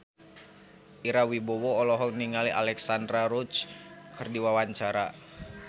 Ira Wibowo olohok ningali Alexandra Roach keur diwawancara